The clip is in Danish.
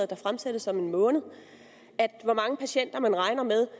der fremsættes om en måned hvor mange patienter man regner med